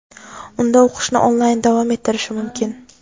unda o‘qishni onlayn davom ettirishi mumkin.